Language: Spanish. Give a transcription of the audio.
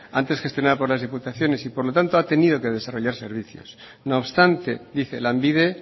antes gestionada por las diputaciones y por lo tanto ha tenido que desarrollar servicios no obstante dice lanbide